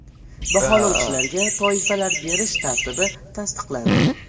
Baholovchilarga toifalar berish tartibi tasdiqlandi.